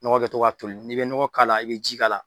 Dɔgɔ kɛ tɔ ka toli n'i be ɲɔgɔ k'a la, i be ji k'a la.